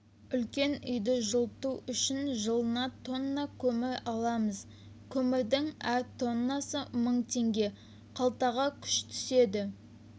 үлкен үйді жылыту үшін жылына тонна көмір аламыз көмірдің әр тоннасы мың теңге қалтаға күш түседі